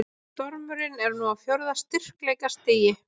Stormurinn er nú á fjórða styrkleikastigi